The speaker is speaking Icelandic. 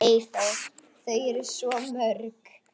Eyþór: Þau eru svo mörg.